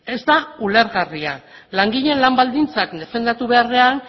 ez da ulergarria langileen lan baldintzak defendatu beharrean